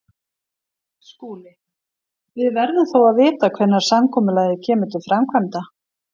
SKÚLI: Við verðum þó að vita hvenær samkomulagið kemur til framkvæmda.